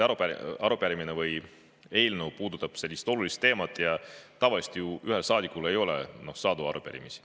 Arupärimine või eelnõu puudutab olulist teemat ja tavaliselt ühel saadikul ei ole sadu arupärimisi.